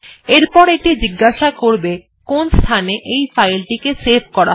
এরপরে এটি জিজ্ঞাসা করবে কোন স্থানে এই ফাইলটিকে সেভ করা হবে